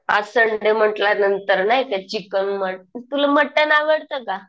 आज संडे म्हंटल्या नंतर नाही का चिकन, तुला मटण आवडतं का?